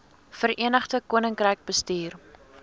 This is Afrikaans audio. verenigde koninkryk bestuur